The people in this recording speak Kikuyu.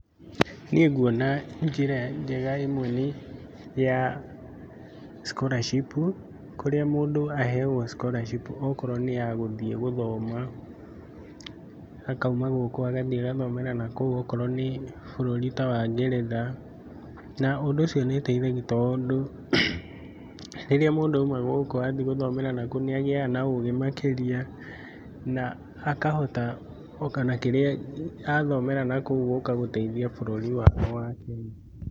Niĩ nguona njĩra njega ĩmwe nĩ ya scholarship kũrĩa mũndũ aheagwo scholarship okorwo nĩ ya gũthiĩ gũthoma, akauma gũkũ agathiĩ agathomera nakũu. Okorwo ni bũrũri ta wa ngeretha. Na ũndũ ũcio nĩ uteithagia tondũ rĩrĩa mũndũ auma gũkũ athiĩ gũthomera nakũu nĩagĩaga na ũũgĩ makĩria na akahota gũũka na kĩrĩa aathomera nakũu gũũka gũteithia bũrũri wake wa Kenya.